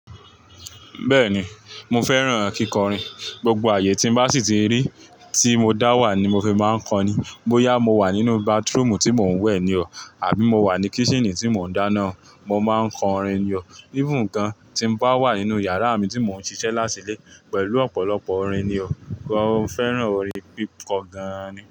Bẹ́ẹ̀ni, mo fẹ́ràn kíkọrin. Gbogbo ààyè tí n bá sì ti rí, tí mo dá wà ni mo fi máa ń kọrin. Bóyá mo wà nínú bathroom tí mò ń wẹ̀ ni o, àbí mo wà ní kitchen tí mò ń dáná, mo máa ń kọrin ni o. Even gan, tí n bá wà nínú yàrá mi tí mò ń ṣiṣẹ́ látìlẹ̀, pẹ̀lú ọ̀pọ̀lọpọ̀ orin ni o. Mo fẹ́ràn orin hip hop gan ni.